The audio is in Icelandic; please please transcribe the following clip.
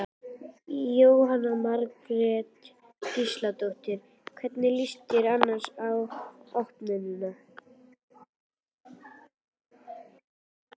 Jóhanna Margrét Gísladóttir: Hvernig líst þér annars á opnunina?